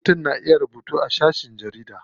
Mutum na iya rubutu a shafin jarida.